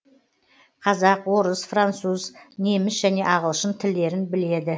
қазақ орыс француз неміс және ағылшын тілдерін біледі